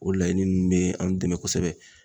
O laɲini nunnu bɛ anw dɛmɛ kosɛbɛ